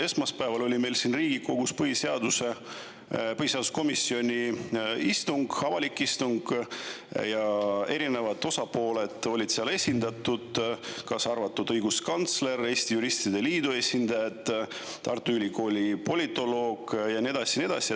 Esmaspäeval oli meil siin Riigikogus põhiseaduskomisjoni istung, avalik istung, ja erinevad osapooled olid seal esindatud, kaasa arvatud õiguskantsler, Eesti Juristide Liidu esindajad, Tartu Ülikooli politoloog ja nii edasi ja nii edasi.